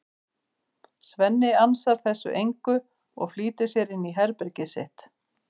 Svenni ansar þessu engu og flýtir sér inn í herbergið sitt.